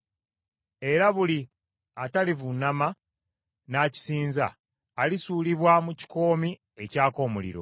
era buli atalivuunama n’akisinza alisuulibwa mu kikoomi ekyaka omuliro.